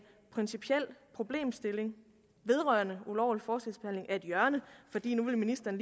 principiel problemstilling vedrørende ulovlig forskelsbehandling er et hjørne fordi ministeren